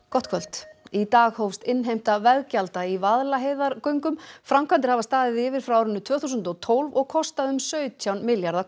gott kvöld í dag hófst innheimta veggjalda í Vaðlaheiðargöngum framkvæmdir hafa staðið yfir frá árinu tvö þúsund og tólf og kostað um sautján milljarða